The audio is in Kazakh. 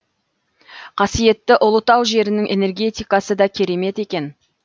қасиетті ұлытау жерінің энергетикасы да керемет екен